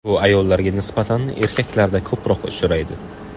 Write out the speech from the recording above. Bu ayollarga nisbatan erkaklarda ko‘proq uchraydi.